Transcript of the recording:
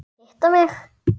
Hitta mig?